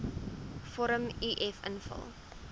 vorm uf invul